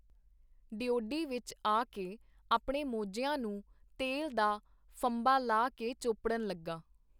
ਡਿਓਢੀ ਵਿੱਚ ਆ ਕੇ ਆਪਣੇ ਮੌਜਿਆਂ ਨੂੰ ਤੇਲ ਦਾ ਫੰਬਾ ਲਾ ਕੇ ਚੋਪੜਣ ਲੱਗਾ.